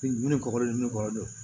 Ni ni kɔkɔ ni ne kɔ